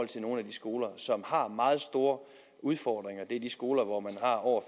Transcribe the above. til nogle af de skoler som har meget store udfordringer det er de skoler hvor man har over